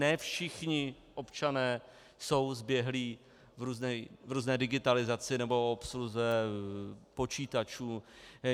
Ne všichni občané jsou zběhlí v různé digitalizaci nebo obsluze počítačů.